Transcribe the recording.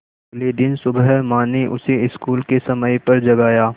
अगले दिन सुबह माँ ने उसे स्कूल के समय पर जगाया